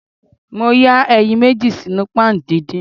Mo ya eyin meji sinu pan didin.